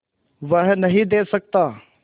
वह नदीं दे सकता